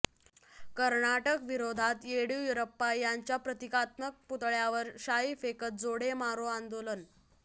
कर्नाटक विरोधात येडीयुरप्पा यांच्या प्रतिकात्मक पुतळ्यावर शाई फेकत जोडे मारो आंदोलन